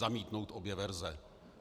Zamítnout obě verze!